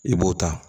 I b'o ta